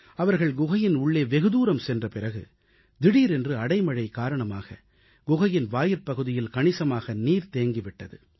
அவர்கள் குகையின் உள்ளே வெகுதூரம் சென்ற பிறகு திடீரென்று அடைமழை காரணமாக குகையின் வாயிற்பகுதியில் கணிசமாக நீர் தேங்கி விட்டது